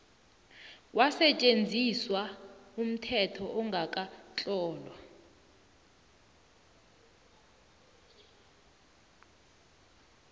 kwasetjenziswa umthetho ongakatlolwa